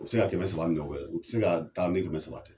U bi se ka kɛmɛ saba mina u bɛ la, u ti se ka taa ni kɛmɛ saba tɛ.